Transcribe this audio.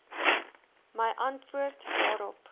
my antwoord daarop